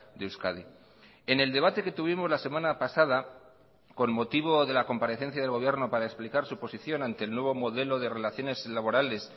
de euskadi en el debate que tuvimos la semana pasada con motivo de la comparecencia del gobierno para explicar su posición ante el nuevo modelo de relaciones laborales